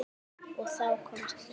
Og þá komst þú.